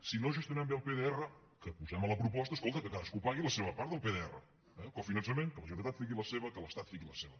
si no gestionem bé el pdr que ho posem a la proposta escolta que cadascú pagui la seva part del pdr cofinançament que la generalitat fiqui la seva que l’estat fiqui la seva